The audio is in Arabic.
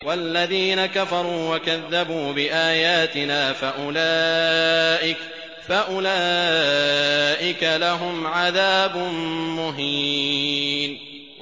وَالَّذِينَ كَفَرُوا وَكَذَّبُوا بِآيَاتِنَا فَأُولَٰئِكَ لَهُمْ عَذَابٌ مُّهِينٌ